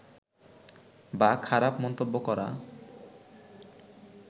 বা খারাপ মন্তব্য করা